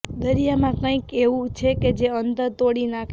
દરિયામાં કંઈક એવું છે કે જે અંતર તોડી નાખે છે